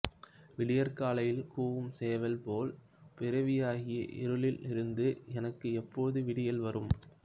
விடியற்காலையில் கூவும் சேவல் போல் பிறவியாகிய இருளில் இருந்து எனக்கு எப்போது விடியல் வரும்